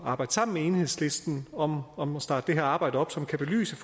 arbejde sammen med enhedslisten om om at starte det her arbejde op som kan belyse